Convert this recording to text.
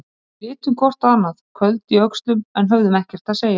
Við litum hvort á annað, köld í öxlum, en höfðum ekkert að segja.